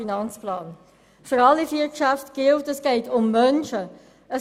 Für alle vier Geschäfte gilt, dass es um Menschen geht.